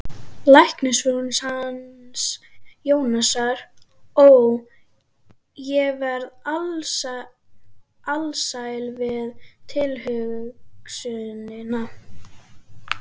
Læknisfrúin hans Jónasar, ó, ég verð alsæl við tilhugsunina